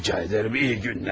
Xahiş edirəm, yaxşı günlər.